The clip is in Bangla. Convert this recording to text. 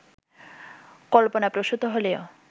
কল্পনাপ্রসূত হলেও